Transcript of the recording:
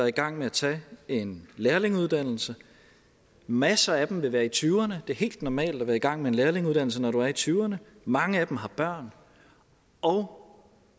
i gang med at tage en lærlingeuddannelse masser af dem vil være i tyverne det er helt normalt at være i gang med en lærlingeuddannelse når du er i tyverne mange af dem har børn og